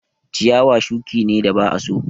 Ciyawa shuki ne da ba a so